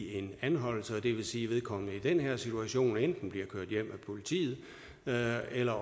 en anholdelse og det vil sige at vedkommende i den her situation enten bliver kørt hjem af politiet eller eller